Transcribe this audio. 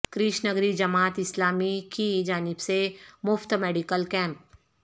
کرشنگری جماعت اسلامی کی جانب سے مفت میڈیکل کیمپ